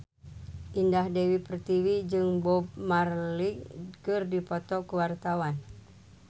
Indah Dewi Pertiwi jeung Bob Marley keur dipoto ku wartawan